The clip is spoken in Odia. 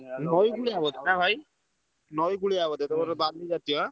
ନଇ କୁଳିଆ ବୋଓଧ ନା ଭାଇ? ନଇ କୁଳିଆ ବୋଧେ ତମର ବାଲୁ ଜୀତୀୟ?